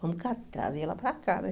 Vamos ca trazer ela para cá, né?